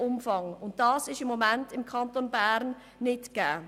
Im Kanton Bern sind die Voraussetzungen dafür nicht gegeben.